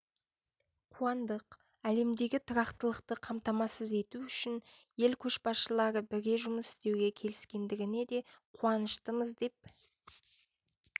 қуандық әлемдегі тұрақтылықты қамтамасыз ету үшін ел көшбасшылары бірге жұмыс істеуге келіскендігіне де қуаныштымыз деп